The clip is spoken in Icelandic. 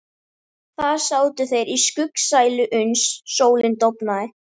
Þar sátu þeir í skuggsælu uns sólin dofnaði.